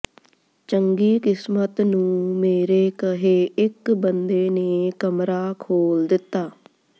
ਚੰਗੀ ਕਿਸਮਤ ਨੂੰ ਮੇਰੇ ਕਹੇ ਇੱਕ ਬੰਦੇ ਨੇ ਕਮਰਾ ਖੋਲ੍ਹ ਦਿੱਤਾ